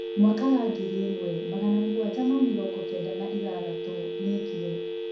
Mwaka wa ngiri ĩmwe magana mũgwanja ma mĩrongo Kenda na ithathatũ. Nĩ ekire